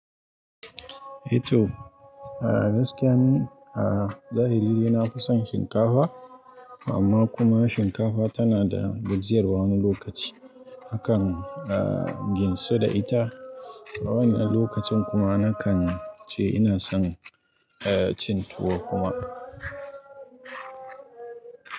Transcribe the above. Eto, gaskiya ni a zahiri na fison shinkafa, amma kuma shinkafa tana da gajiyarwa wani lokaci hakan a ginsa da ita. A wani lokacin kuma nakan ce ina son a! Cin tuwo kuma.